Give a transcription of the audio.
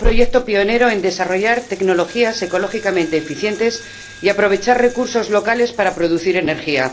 De un proyecto pionero en desarrollar tecnologías ecológicamente eficientes y aprovechar recursos locales para producir energía